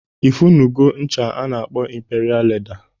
Ị funugo ncha a na-akpọ Imperia Leda?